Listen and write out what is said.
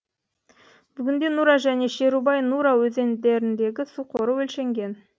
бүгінде нура және шерубай нура өзендеріндегі су қоры өлшенген